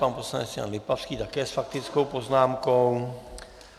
Pan poslanec Jan Lipavský také s faktickou poznámkou.